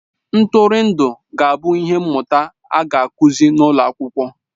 Ntụrụndụ ga-abụ ihe mmụta a ga-akụzi n'ụlọ akwụkwọ